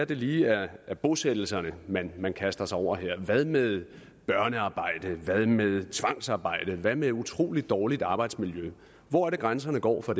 det lige er bosættelserne man man kaster sig over her hvad med børnearbejde hvad med tvangsarbejde hvad med utrolig dårligt arbejdsmiljø hvor er det grænserne går for